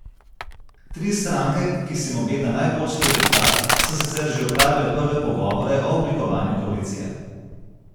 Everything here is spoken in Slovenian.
Tri stranke, ki se jim obeta najboljši rezultat, so sicer že opravile prve pogovore o oblikovanju koalicije.